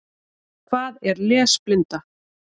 Hvað er lesblinda?